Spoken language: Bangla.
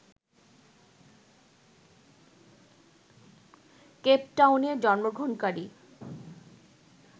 কেপটাউনে জন্মগ্রহণকারী